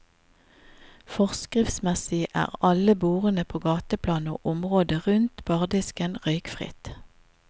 Forskriftsmessig er alle bordene på gateplan og området rundt bardisken røykfritt.